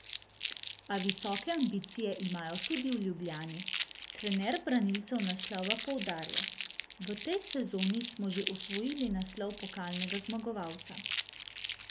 A visoke ambicije imajo tudi v Ljubljani Trener branilcev naslova poudarja: 'V tej sezoni smo že osvojili naslov pokalnega zmagovalca.